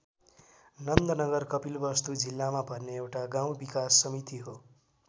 नन्द नगर कपिलवस्तु जिल्लामा पर्ने एउटा गाउँ विकास समिति हो।